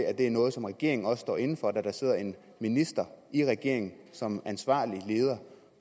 at det er noget som regeringen også står inde for da der sidder en minister i regeringen som ansvarlig leder